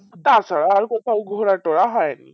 তাছাড়া আমি কোথাও ঘোরা টোরা হয় নি